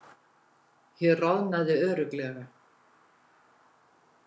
Ég roðnaði örugglega.